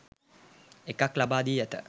එකක් ලබා දී ඇත